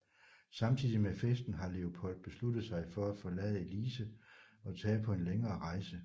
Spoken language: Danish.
Samtidigt med festen har Leopold besluttet sig for at forlade Elsie og tage på en længere rejse